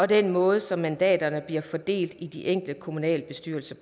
den måde som mandaterne bliver fordelt på i de enkelte kommunalbestyrelser